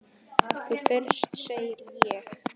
Þú fyrst, segi ég.